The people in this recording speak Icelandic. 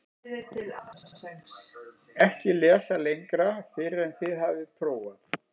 EKKI LESA LENGRA FYRR EN ÞIÐ HAFIÐ PRÓFAÐ